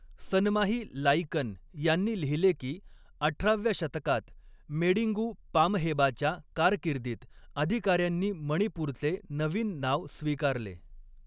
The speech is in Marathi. सनमाही लाइकन यांनी लिहिले की अठराव्या शतकात मेडिंगू पामहेबाच्या कारकिर्दीत अधिकाऱ्यांनी मणिपूरचे नवीन नाव स्वीकारले.